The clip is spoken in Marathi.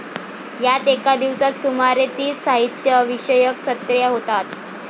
यात एका दिवसात सुमारे तीस साहित्य विषयक सत्रे होतात.